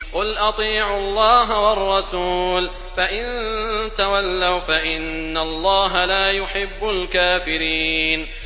قُلْ أَطِيعُوا اللَّهَ وَالرَّسُولَ ۖ فَإِن تَوَلَّوْا فَإِنَّ اللَّهَ لَا يُحِبُّ الْكَافِرِينَ